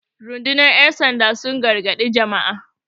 rundunar yansanda sun yi gargadi Jama'a